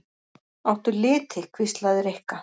Áttu liti? hvíslaði Rikka.